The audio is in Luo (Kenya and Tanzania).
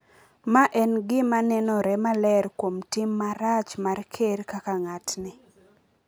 ma en gima nenore maler kuom tim marach mar Ker kaka ng’atni.